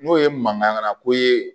N'o ye mankanŋako ye